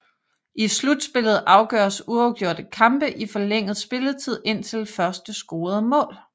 I slutspillet afgøres uafgjorte kampe i forlænget spilletid indtil første scorede mål